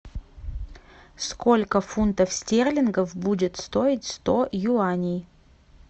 сколько фунтов стерлингов будет стоить сто юаней